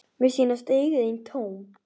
Mér sýnast augu þín tóm.